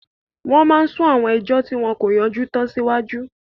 Wọ́n máa n sún àwọn ẹjọ́ tí wọn kò yanjú tán síwájú